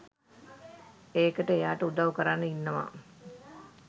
ඒකට එයාට උදව් කරන්න ඉන්නවා